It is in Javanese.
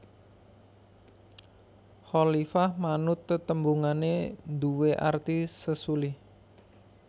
Khalifah manut tetembungané nduwé arti sesulih